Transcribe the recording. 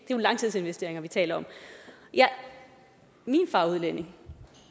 jo langtidsinvesteringer vi taler om min far er udlænding